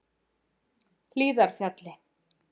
Hlíðarfjalli